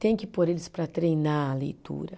Tem que pôr eles para treinar a leitura.